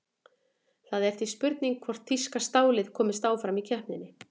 Það er því spurning hvort þýska stálið komist áfram í keppninni?